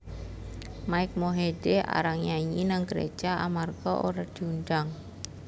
Mike Mohede arang nyanyi nang gereja amarga ora diundang